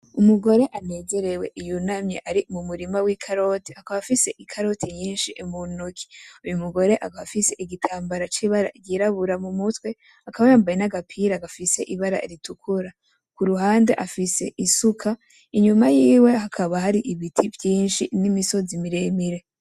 Umugore anezerewe yunamye ari mumurima wi karoti akaba afise ikariti nyinshi muntoki uyumugore akaba afise igitambara kibara ryirabura mumutwe akaba yambaye na gapira gafise ibara ritukura kuruhande afise isuka inyuma yiwe hakaba hari ibiti vyinshi nimisozi miremire.